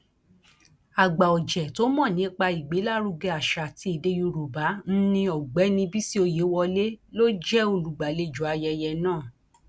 àgbàọjẹ tó mọ nípa ìgbélárugẹ àṣà àti èdè yorùbá nni ọgbẹni bisi ọyẹwọlẹ ló jẹ olùgbàlejò ayẹyẹ náà